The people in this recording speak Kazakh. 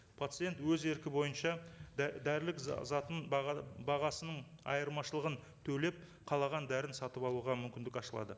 пациент өз еркі бойынша дәрілік затын баға бағасының айырмашылығын төлеп қалаған дәріні сатып алуға мүмкіндік ашылады